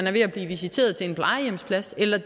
er ved at blive visiteret til en plejehjemsplads eller